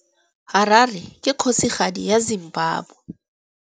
Harare ke kgosigadi ya Zimbabwe.